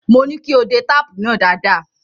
Mo ní kí o de táàpù náà dáadáa.